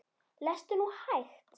Lestu nú hægt!